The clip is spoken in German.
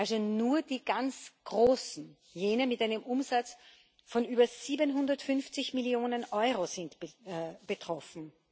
Also nur die ganz Großen, jene mit einem Umsatz von über 750 Millionen Euro, sind betroffen.